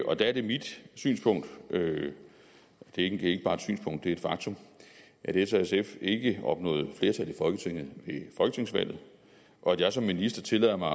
og der er det mit synspunkt og det er ikke bare et synspunkt det er et faktum at s og sf ikke opnåede flertal i folketinget ved folketingsvalget og at jeg som minister tillader mig